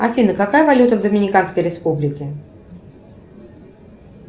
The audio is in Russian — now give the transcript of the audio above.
афина какая валюта в доминиканской республике